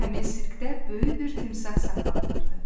Həmin sirkdə böyük bir timsah saxlanılırdı.